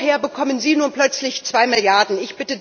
Woher bekommen sie nun plötzlich 2 Milliarden Euro?